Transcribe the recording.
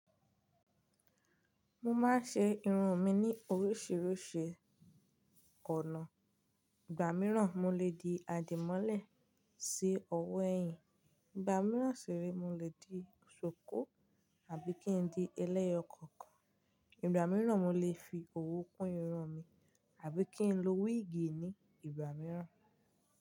Mo máa ń ṣe irun mi ní oríṣiríṣi ọ̀nà. Igba mìíràn, mo lè di àdìmọ́lẹ̀ sí ọwọ́ ẹ̀yìn. Igba mìíràn sì re, mo lè di ṣuku àbí kí n di ẹlẹ́yọkọ̀kan. Igba mìíràn, mo lè fi òwú kún irun mi àbí kí n lo wíìgì ní ìgbà mìíràn.